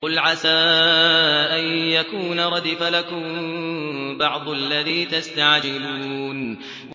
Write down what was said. قُلْ عَسَىٰ أَن يَكُونَ رَدِفَ لَكُم بَعْضُ الَّذِي تَسْتَعْجِلُونَ